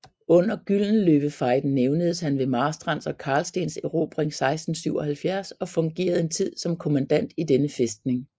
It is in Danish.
Under Gyldenløvefejden nævnes han ved Marstrands og Carlstens erobring 1677 og fungerede en tid som kommandant i denne fæstning